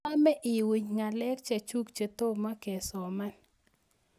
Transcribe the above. Asome iiuny ngalek chechug chetoma kesoman